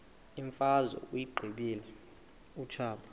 imfazwe uyiqibile utshaba